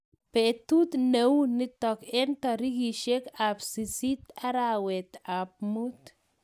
Betut ne u nitok eng tarikishek ab sisit arawet ab mut.